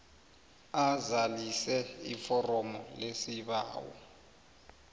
azalise iforomo lesibawo